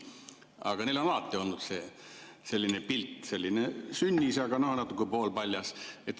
Aga neil on alati olnud selliseid pilte – muidu sünnis, aga natuke poolpaljas.